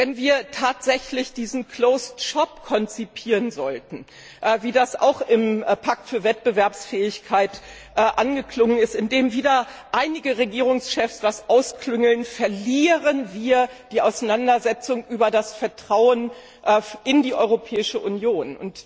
Wenn wir tatsächlich diesen closed shop konzipieren sollten, wie das auch im Pakt für Wettbewerbsfähigkeit angeklungen ist, in dem wieder einige Regierungschefs etwas ausklüngeln, verlieren wir die Auseinandersetzung über das Vertrauen in die Europäische Union.